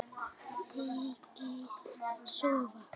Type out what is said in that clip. Þykist sofa.